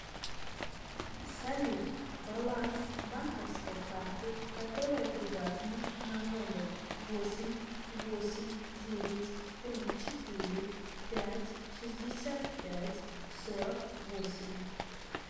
салют баланс банковской карты которая привязана на номер восемь восемь девять три четыре пять шестьдесят пять сорок восемь